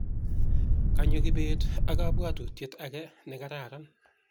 kanyo kibet ak kabuatutiet age' ne karan